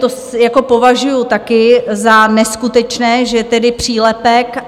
To považuji také za neskutečné, že je tedy přílepek.